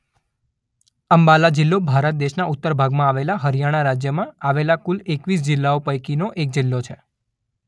અંબાલા જિલ્લો ભારત દેશના ઉત્તર ભાગમાં આવેલા હરિયાણા રાજ્યમાં આવેલા કુલ એકવીસ જિલ્લાઓ પૈકીનો એક જિલ્લો છે.